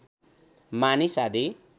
मानिस आदि